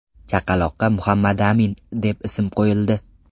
Chaqaloqqa Muhammadamin deb ism qo‘yildi .